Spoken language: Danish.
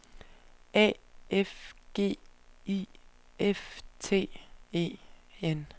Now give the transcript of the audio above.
A F G I F T E N